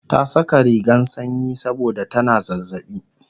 ta Saka rigan sanyi saboda tana zazzaɓi